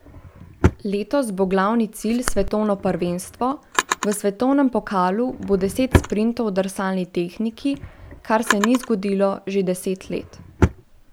Letos bo glavni cilj svetovno prvenstvo, v svetovnem pokalu bo deset sprintov drsalni tehniki, kar se ni zgodilo že deset let.